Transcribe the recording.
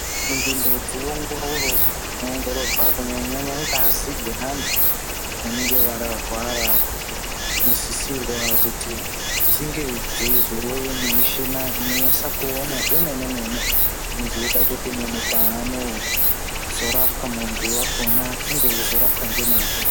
Munzvimbo dzeongororo dzinoongororwa kunyanya ngazi dzeantu vanenge varwara dzinosisirwa kuti dzinge dzeizouya nemishini inonyatse kuona zvemenemene inozoita munhu kuti paanozorapwa muntu wakona enge eizorapwa ngemazvo.